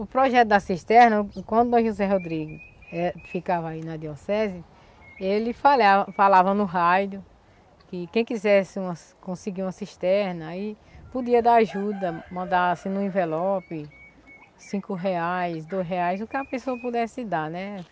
O projeto das cisternas, quando o José Rodrigo eh ficava aí na arquidiocese, ele falava falava no rádio que quem quisesse um, conseguir uma cisterna aí podia dar ajuda, mandasse em um envelope cinco reais, dois reais, o que a pessoa pudesse dar, né?